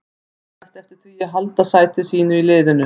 Hann vonast eftir því að halda sæti sínu í liðinu.